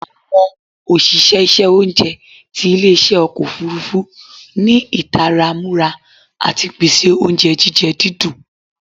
Awọn oṣiṣẹ iṣẹ ounjẹ ti ile-iṣẹ ọkọ ofurufu ni itara mura ati pese ounjẹ jijẹ didùn